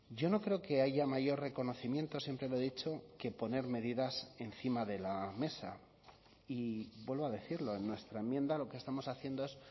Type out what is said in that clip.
yo no creo que haya mayor reconocimiento siempre lo he dicho que poner medidas encima de la mesa y vuelvo a decirlo en nuestra enmienda lo que estamos haciendo es